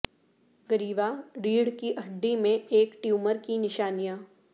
گریوا ریڑھ کی ہڈی میں ایک ٹیومر کی نشانیاں